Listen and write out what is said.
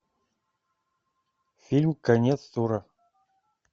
фильм конец тура